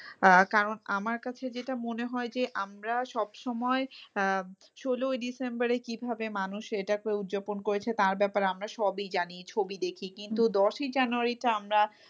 আহ কারণ আমার কাছে যেটা মনে হয় যে আমরা সব সময় আহ ষোলই ডিসেম্বরে কিভাবে মানুষ এটাকে উদযাপন করেছে তার ব্যাপারে আমরা সবই জানি ছবি দেখি কিন্তু দশই জানুয়ারিতে আমরা,